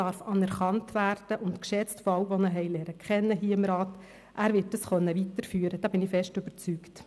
Diese darf, so glaube ich, auch anerkannt werden, und sie wird von all jenen geschätzt, die ihn hier im Rat kennengelernt haben.